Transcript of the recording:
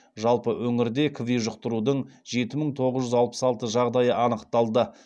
жалпы өңірде кви жұқтырудың жеті мың тоғыз жүз алпыс алты жағдайы анықталды